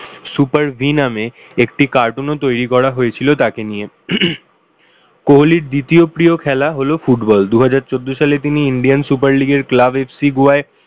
super V নামে একটি cartoon ও তৈরী করা হয়েছিল তাকে নিয়ে। কোহলির দ্বিতীয় প্রিয় খেলা হলো football দুহাজার চোদ্দ সালে তিনি indian super leaque এর club FC goa আয়